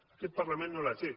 i aquest parlament no la té